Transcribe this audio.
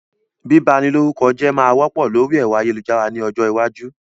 Bíba ni lórúkọ jẹ́ máa wọ́pọ̀ lórí ẹ̀rọ ayélujára ni ọjọ́ iwájú